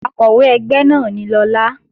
Akọ̀wé ẹgbẹ́ náà ni Lọlá